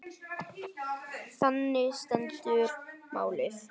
Þannig stendur málið.